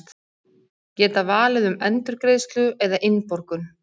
Geta valið um endurgreiðslu eða innborgun